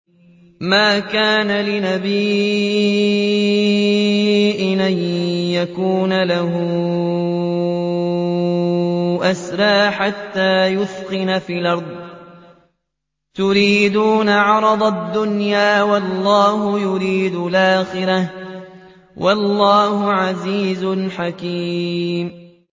مَا كَانَ لِنَبِيٍّ أَن يَكُونَ لَهُ أَسْرَىٰ حَتَّىٰ يُثْخِنَ فِي الْأَرْضِ ۚ تُرِيدُونَ عَرَضَ الدُّنْيَا وَاللَّهُ يُرِيدُ الْآخِرَةَ ۗ وَاللَّهُ عَزِيزٌ حَكِيمٌ